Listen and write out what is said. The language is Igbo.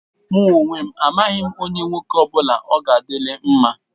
Mụ onwe m, amaghị onye nwoke ọ bụla ọ ga-adịlị mma.